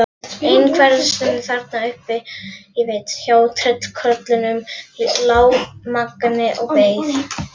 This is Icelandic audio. Einhversstaðar þarna uppi hjá tröllkörlunum lá Mangi og beið.